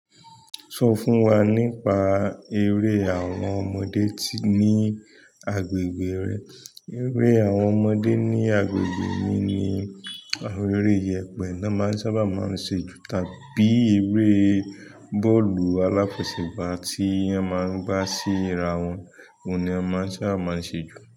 Sọ fún wa nípa eré àwọn ọmọdé ní agbègbè rẹ. Eré àwọn ọmọdé ní agbègbè mi ni àwọn eré ìyẹ̀pẹ̀ ná máa sábà máa ń ṣe jù tàbí eré bọ́ọ̀lù aláfẹsẹ̀gbá tí a máa ń gbá sí ra wọn, òun ni a máa ń sábà máa ń ṣe jù.